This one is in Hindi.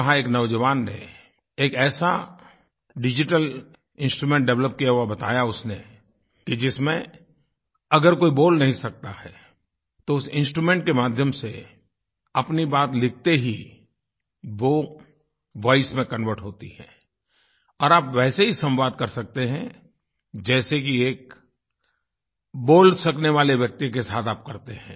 वहाँ एक नौजवान ने एक ऐसा डिजिटल इंस्ट्रूमेंट डेवलप किया हुआ बताया उसने कि जिसमें अगर कोई बोल नहीं सकता है तो उस instrumentके माध्यम से अपनी बात लिखते ही वो वॉइस में कन्वर्ट होती है और आप वैसे ही सम्वाद कर सकते हैं जैसे कि एक बोल सकने वाले व्यक्ति के साथ आप करते हैं